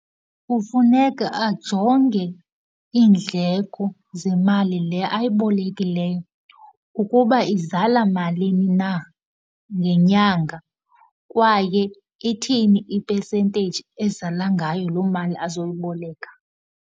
Kufuneka ajonge iindleko zemali le ayibolekileyo ukuba izala malini na ngenyanga, kwaye ithini ipesenteyiji ezala ngayo loo mali azoyiboleka.